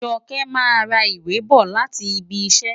Joke máa ra ìwé bọ̀ láti ibi iṣẹ́.